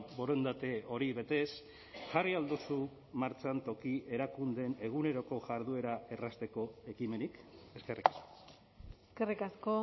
borondate hori betez jarri ahal duzu martxan toki erakundeen eguneroko jarduera errazteko ekimenik eskerrik asko eskerrik asko